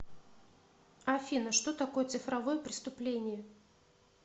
афина что такое цифровое преступление